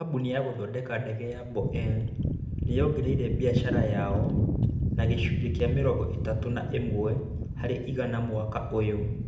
Kambuni ya gũthondeka ndege ya Boeing nĩ yongereire biacara yayo na gĩcunjĩ kĩa mĩrongo ĩtatũ na ĩmwe harĩ igana mwaka ũyũ.